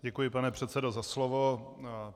Děkuji, pane předsedo, za slovo.